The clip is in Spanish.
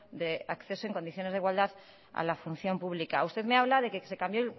de acceso en condiciones de igualdad a la función pública usted me habla de que se cambió